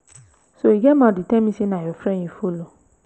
so you get mouth to tell me say na your friend you follow.